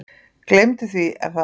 Gleymdu því Er það?